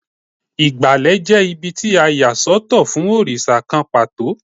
Ìgbàlẹ̀ jẹ́ ibí tí a yà sọ́tọ̀ fún òrìṣà kan pàtó.